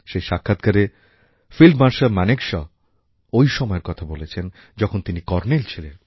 এই সাক্ষাৎকারে field marshal Manekshaw ঐ সময়ের কথা বলেছেন যখন তিনি কর্ণেল ছিলেন